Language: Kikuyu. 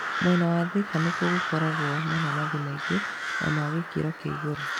Mwena wa Thĩka nĩ kuo gũkũragio mananathi maingĩ na ma gĩkĩro kĩa igũrũ.